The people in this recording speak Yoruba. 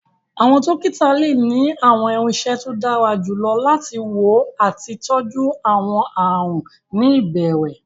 Àwọn dókítà lè ní àwọn irinṣẹ́ tó dára jù lọ láti wá àti tọjú àwọn àrùn ní ìbẹ̀rẹ̀